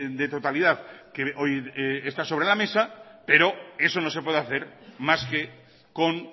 de totalidad que hoy está sobre la mesa pero eso no se puede hacer más que con